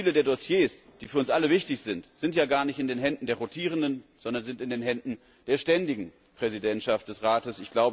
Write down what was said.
Viele der Dossiers, die für uns alle wichtig sind, sind ja gar nicht in den Händen der rotierenden, sondern sind in den Händen der ständigen Präsidentschaft des Rates.